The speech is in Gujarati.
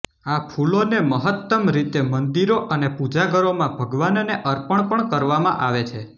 આ ફૂલોને મહત્તમ રીતે મંદિરો અને પૂજા ઘરોમાં ભગવાનને અર્પણ પણ કરવામાં આવે છે